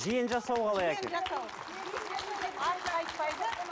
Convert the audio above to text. жиен жасау қалай екен